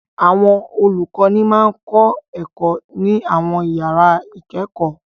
Àwọn olùkọ́ní máa ń kọ́ ẹ̀kọ́ ní àwọn ìyàrá-ìkẹ́kọ̀ọ́.